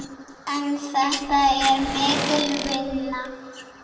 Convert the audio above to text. En þetta er mikil vinna.